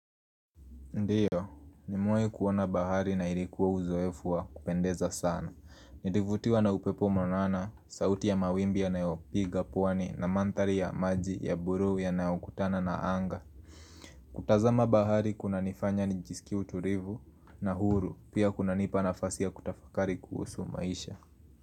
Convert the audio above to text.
Ndiyo, nimewai kuona bahari na ilikuwa uzoefu wa kupendeza sana. Nilivutiwa na upepo mwanana, sauti ya mawimbi yanayopiga pwani na mandhari ya maji ya buruu yanayo kutana na anga. Kutazama bahari kunanifanya nijisikie uturivu na huru, pia kunanipa nafasi ya kutafakari kuhusu maisha.